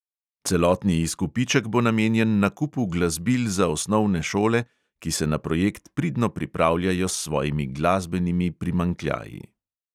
Celotni izkupiček bo namenjen nakupu glasbil za osnovne šole, ki se na projekt pridno pripravljajo s svojimi glasbenimi primanjkljaji.